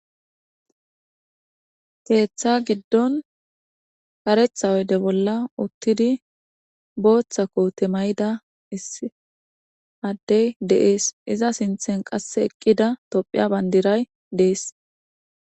Keeththa giddon karetha oyde bolla uttidi booththa koote mayida is addey deees iza sinthen qasse eqqida tophiya bandiray dees.